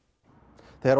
þegar